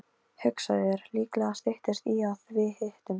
Hugsaðu þér, líklega styttist í að við hittumst.